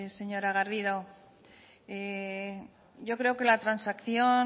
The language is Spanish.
señora garrido yo creo que la transacción